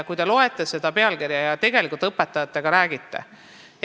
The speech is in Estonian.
Kui te loete seda pealkirja, siis kas te tegelikult ka õpetajatega räägite?